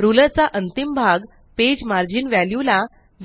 ruler चा अंतिम भाग पेज मार्जिन वेल्यू ला